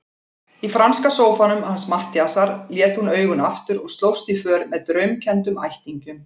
Í franska sófanum hans Matthíasar lét hún augun aftur og slóst í för með draumkenndum ættingjum.